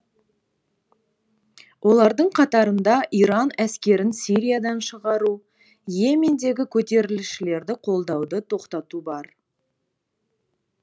олардың қатарында иран әскерін сириядан шығару и емендегі көтерілісшілерді қолдауды тоқтату бар